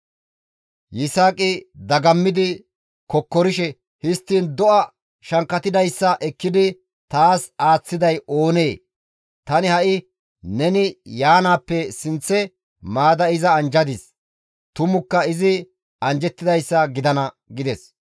Yisaaqi dagammidi kokkorishe, «Histtiin do7a shankkatidayssa ekkidi taas aaththiday oonee? Tani ha7i neni yaanaappe sinththe maada iza anjjadis; tumukka izi anjjettidayssa gidana» gides.